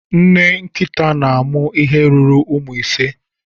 Nne nkịta na-amụ ihe ruru ụmụ ise